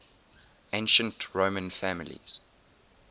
ancient roman families